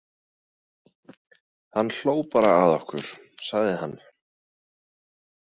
Hann hló bara að okkur, sagði hann.